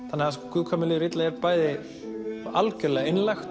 þannig að Guð hvað mér líður illa er bæði algjörlega einlægt